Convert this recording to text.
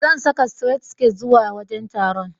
Zan saka sitiret siket zuwa wajen taron.